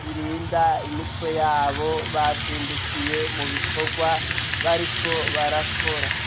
zirinda imitwe yabo bazindukiye mu bikorwa bariko barakora.